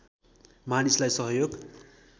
मानिसलाई सहयोग